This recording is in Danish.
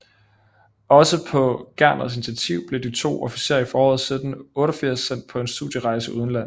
Også på Gerners initativ blev de to officerer i foråret 1788 sendt på en studierejse udenlands